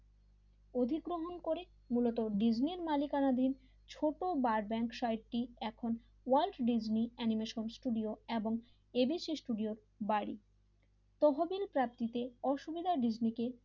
অধিগ্রহণ করে মূলত ডিসনির মালিকানাধীন ছোট বার ব্যাংক সাহিত্যে এখন ওয়াল্ড ডিসনি অ্যানিমেশন স্টুডিও এবং এবিসি স্টুডিও বারে তহবেল প্রাপ্তিতে অসুবিধা ডিসনি